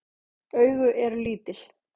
Augu eru lítil.